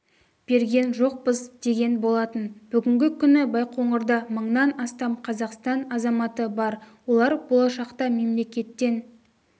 берген жоқпыз деген болатын бүгінгі күні байқоңырда мыңнан астам қазақстан азаматы бар олар болашақта мемлекеттен